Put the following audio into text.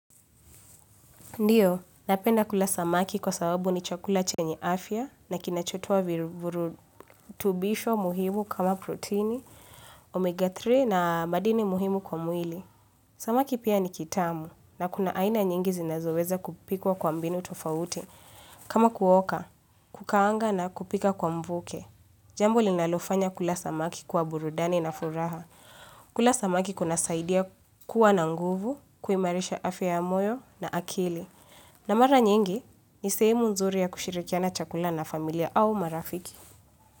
Ndiyo, napenda kula samaki kwa sababu ni chakula chenye afya na kinachotoa virutubisho muhimu kama proteini, omega tatu na madini muhimu kwa mwili. Samaki pia ni kitamu na kuna aina nyingi zinazoweza kupikwa kwa mbinu tofauti. Kama kuoka, kukaanga na kupika kwa mvuke. Jambo linalofanya kula samaki kuwa burudani na furaha. Kula samaki kunasaidia kuwa na nguvu, kuimarisha afya ya moyo na akili. Na mara nyingi, ni sehemu nzuri ya kushirikiana chakula na familia au marafiki.